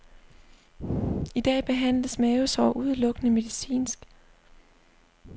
I dag behandles mavesår udelukkende medicinsk.